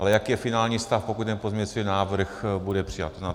Ale jaký je finální stav, pokud ten pozměňující návrh bude přijat?